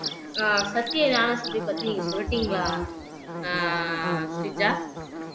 அஹ் சத்திய ஞானசபை பத்தி சொல்லிட்டீங்களா அஹ் ஸ்ரீஜா